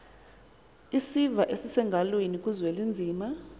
isiva esisengalweni kuzwelinzima